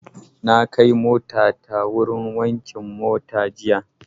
Na kai motata wurin wankin mota jiya.